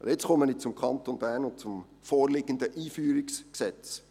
Nun komme ich zum Kanton Bern und zum vorliegenden Einführungsgesetz.